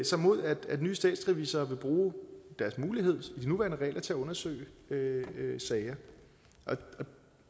sig mod at nye statsrevisorer vil bruge deres mulighed i de nuværende regler til at undersøge sager